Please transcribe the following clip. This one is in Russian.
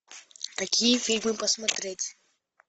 какие фильмы посмотреть